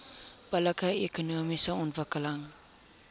billike ekonomiese ontwikkeling